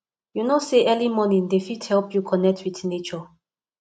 you know sey early morning dey fit help you connect wit nature